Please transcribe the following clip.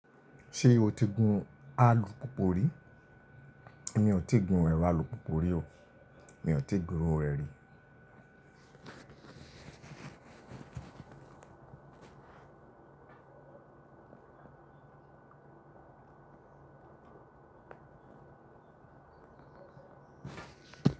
Ṣé o ti gun alùpùpù rí? Mi ò ti gun ẹrọ alùpùpù rí o. Mi ò ti gun iru rẹ̀ rí.